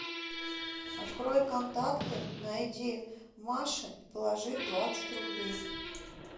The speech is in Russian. открой контакты найди маша и положи двадцать рублей